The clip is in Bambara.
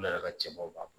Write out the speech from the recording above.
Ulu yɛrɛ ka cɛbaw b'a